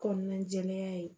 Kɔnɔna jɛlenya ye